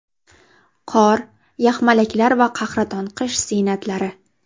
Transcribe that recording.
Qor, yaxmalaklar va qahraton qish ziynatlari.